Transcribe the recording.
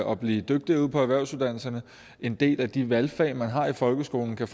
og blive dygtigere ude på erhvervsuddannelserne en del af de valgfag man har i folkeskolen kan